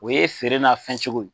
O ye feere n'a fɛn cogo ye